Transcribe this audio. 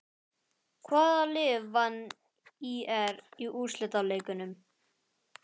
Hvaða lið vann ÍR í úrslitaleiknum?